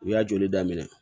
U y'a joli daminɛ